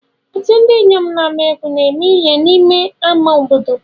Otu ndị inyom na-agba egwu na-eme n'ime ama obodo.